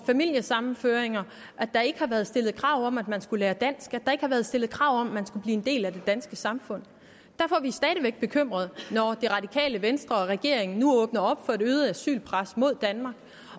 familiesammenføringer ikke har været stillet krav om at man skulle lære dansk hvor der ikke har været stillet krav om at man skulle blive en del af det danske samfund derfor er vi stadig væk bekymrede når det radikale venstre og regeringen nu åbner op for et øget asylpres mod danmark